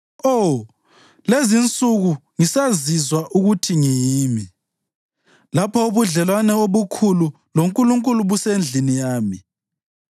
Oh, lezinsuku ngisazizwa ukuthi ngiyimi, lapho ubudlelwano obukhulu loNkulunkulu busesendlini yami,